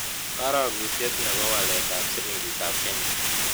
Karogutiet ne po waletap silingiitap kenya